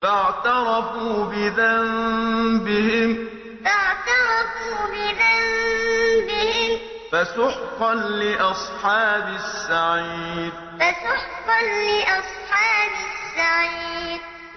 فَاعْتَرَفُوا بِذَنبِهِمْ فَسُحْقًا لِّأَصْحَابِ السَّعِيرِ فَاعْتَرَفُوا بِذَنبِهِمْ فَسُحْقًا لِّأَصْحَابِ السَّعِيرِ